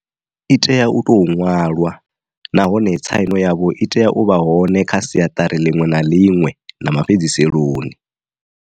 I tea u tou ṅwalwa, na hone tsaino yavho i tea u vha hone kha siaṱari ḽiṅwe na ḽiṅwe na ma fhedziseloni.